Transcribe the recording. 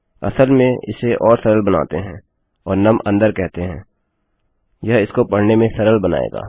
असल में इसे और सरल बनाते हैं और नुम अन्दर कहते हैं यह इसको पढ़ने में सरल बनाएगा